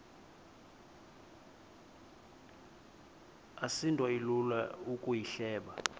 asinto ilula ukuyihleba